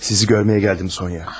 Sizi görməyə gəldim, Sonya.